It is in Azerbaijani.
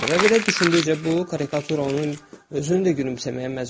Və belə düşündükcə bu karikatura onun özünü də gülümsəməyə məcbur edir.